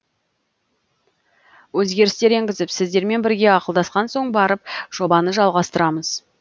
өзгерістер енгізіп сіздермен бірге ақылдасқан соң барып жобаны жалғастырамыз